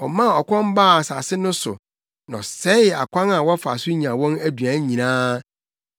Ɔmaa ɔkɔm baa asase no so na ɔsɛee akwan a wɔfa so nya wɔn aduan nyinaa;